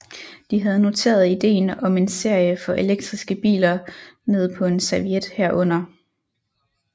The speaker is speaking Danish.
De havde noteret idéen om en serie for elektriske biler ned på en serviet herunder